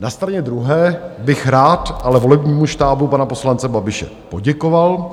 Na straně druhé bych rád ale volebnímu štábu pana poslance Babiše poděkoval,